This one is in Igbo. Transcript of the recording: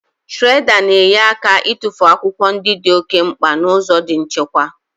Shiredà na-enyere aka ịtụfu akwụkwọ ndị di oké mkpa n'ụzọ di nchekwa.